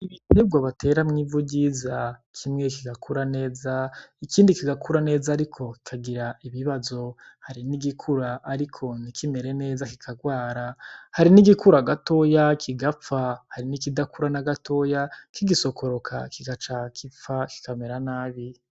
Ibiterwa batera mwivu ryiza kimwe kigakura neza ikindi kigakura neza ariko kikagira ibibazo hari n'igikura ariko ntikimere neza kikarwara hari n'igikura gatoya kigapfa hari n'ikidakura n'agatoya kigisokoroka kigaca gipfa kikamera nabi.